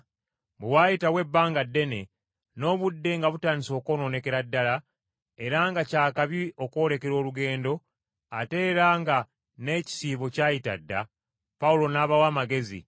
Bwe waayitawo ebbanga ddene, n’obudde nga butandise okwonoonekera ddala, era nga kyakabi okwolekera olugendo, ate era nga n’ekisiibo kyayita dda, Pawulo n’abawa amagezi,